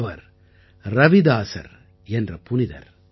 அவர் ரவிதாஸர் என்ற புனிதர்